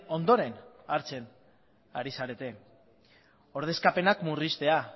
ondoren hartzen ari zarete ordezkapenak murriztea